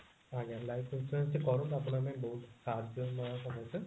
ଆଜ୍ଞା life insurance ଟି କରନ୍ତୁ ଆପଣଙ୍କ ପାଇଁ ବହୁତ ସାହାଜ୍ଯ